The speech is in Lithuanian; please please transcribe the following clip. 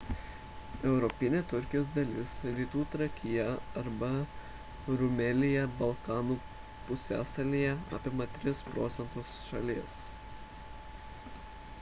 europinė turkijos dalis rytų trakija arba rumelija balkanų pusiasalyje apima 3 % šalies